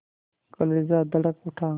कलेजा धड़क उठा